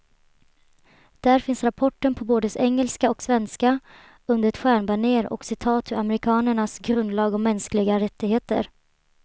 Där finns rapporten på både engelska och svenska, under ett stjärnbanér och citat ur amerikanernas grundlag om mänskliga rättigheter.